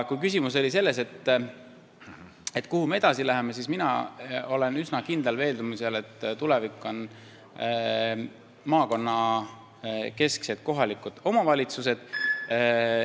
Kui küsimus oli selles, kuhu me edasi läheme, siis mina olen üsna kindlal veendumusel, et tulevik on maakonnakesksed kohalikud omavalitsused.